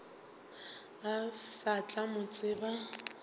o sa tla mo tseba